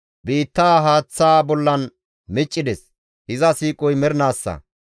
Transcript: Biittaa haaththa bollan miccides; iza siiqoy mernaassa.